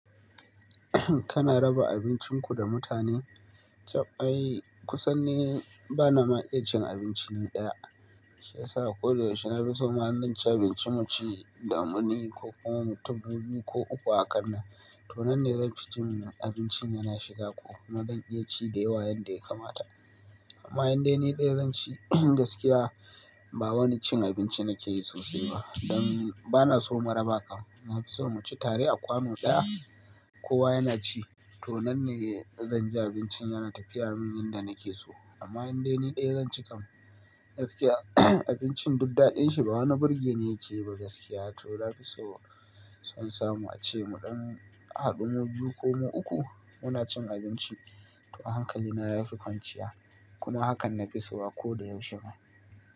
Kana raba abincin ku da mutane? Chab ai kusan ne bana ma iya cin abinci ne ɗaya. Shi yasa ko da yaushe na fi so im ma zan ci abinci mu ci da mu ne ko kuma mu biyu ko uku a kanna. To nan ne zan fi jin abincin yana shiga ko kuma zan iya ci da yawa yadda ya kamata. Amma yanda ne ɗaya zan ci gaskiya ba wani cin abinci nake yi sosai ba. Dan bana so maraba kan. Na fi so mu ci tare a kwano ɗaya kowa yana ci. To nan ne zan ji abincin yana tafiya min yanda nake so. Amma yanda ne ɗaya zan ci kam gaskiya abincin duk daɗin shi ba wani birge ne yake ba gaskiya. To na fi so sun samu a ce mu ɗan haɗu mu biyu ko mu uku muna cin abinci. To hankali na ya fi kwanciya. Kuma hakan na fi so a ko da yaushe ma.